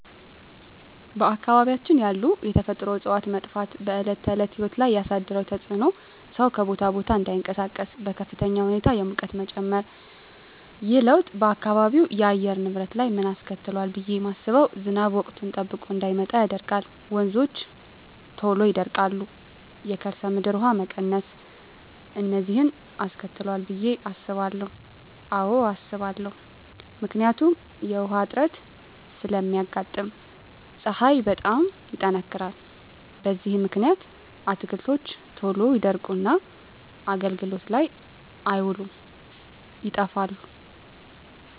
በአካባቢያችን ያሉ የተፈጥሮ እፅዋት መጥፋት በዕለት ተዕለት ሕይወት ላይ ያሣደረው ተፅኖ ሠው ከቦታ ቦታ እዳይንቀሣቀስ፤ በከፍተኛ ሁኔታ የሙቀት መጨመር። ይህ ለውጥ በአካባቢው የአየር ንብረት ላይ ምን አስከትሏል ብየ ማስበው። ዝናብ ወቅቱን ጠብቆ እዳይመጣ ያደርጋል፤ ወንዞች ቶሎ ይደርቃሉ፤ የከርሠ ምድር ውሀ መቀነስ፤ እነዚን አስከትሏል ብየ አስባለሁ። አዎ አስባለሁ። ምክንያቱም ውሀ እጥረት ስለሚያጋጥም፤ ፀሀይ በጣም ይጠነክራል። በዚህ ምክንያት አትክልቶች ቶሎ ይደርቁና አገልግሎት ላይ አይውሉም ይጠፋሉ።